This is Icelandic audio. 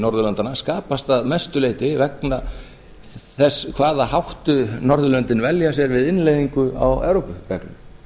norðurlandanna skapast að mestu leyti vegna þess hvaða átti norðurlöndin velja sér við innleiðingu á evrópureglum